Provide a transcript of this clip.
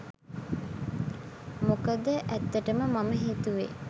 මොකද ඇත්තටම මම හිතුවෙ